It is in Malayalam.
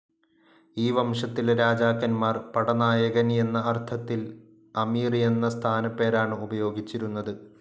ഈ വംശത്തിലെ രാജാക്കന്മാർ, പടനായകൻ എന്ന അർത്ഥത്തിൽ, അമീർ എന്ന സ്ഥാനപ്പേരാണ് ഉപയോഗിച്ചിരുന്നത്.